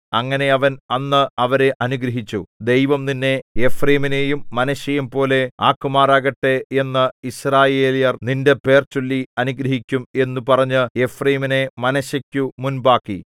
അങ്ങനെ അവൻ അന്ന് അവരെ അനുഗ്രഹിച്ചു ദൈവം നിന്നെ എഫ്രയീമിനെയും മനശ്ശെയെയുംപോലെ ആക്കുമാറാകട്ടെ എന്ന് യിസ്രായേല്യർ നിന്റെ പേർചൊല്ലി അനുഗ്രഹിക്കും എന്നു പറഞ്ഞ് എഫ്രയീമിനെ മനശ്ശെയ്ക്കു മുൻപാക്കി